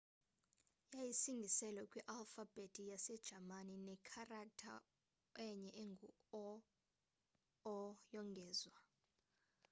yayisingiselwe kwi alfabhethi yase jamani ne kharaktha enye engu õ/õ yongezwa